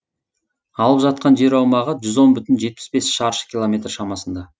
алып жатқан жер аумағы жүз он бүтін жетпіс бес шаршы километр шамасында